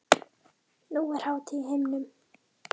Nú er hátíð á himnum.